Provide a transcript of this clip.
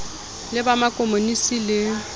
le ba ma komonisi le